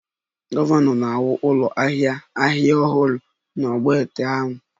Gọvanọ na-ewu ụlọ ahịa ahịa ahịa ọhụrụ n'ogbete ahịa